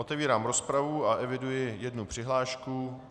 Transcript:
Otevírám rozpravu a eviduji jednu přihlášku.